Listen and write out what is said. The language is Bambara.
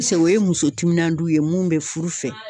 o ye muso timinandiw ye mun bɛ furu fɛ.